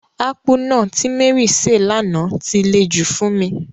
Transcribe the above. Akpu náà ti Mary se lana ti le jù fún mi.